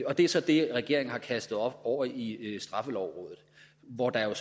og det er så det regeringen har kastet over i straffelovrådet hvor der jo